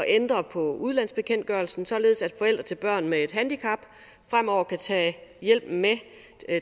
ændre på udenlandsbekendtgørelsen således at forældre til børn med et handicap fremover kan tage hjælpen med